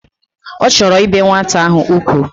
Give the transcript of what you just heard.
Ochoro ibe nwata ahu ukwu